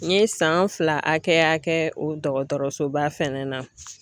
N ye san fila hakɛ hakɛ o dɔgɔtɔrɔsoba fɛnɛ na.